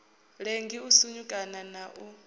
lengi u sinyukana na u